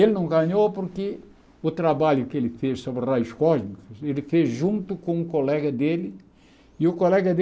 Ele não ganhou porque o trabalho que ele fez sobre raios cósmicos, ele fez junto com um colega dele, e o colega